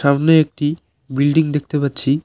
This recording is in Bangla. সামনে একটি বিল্ডিং দেখতে পাচ্ছি।